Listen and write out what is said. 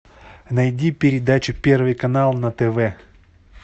найди передачу первый канал на тв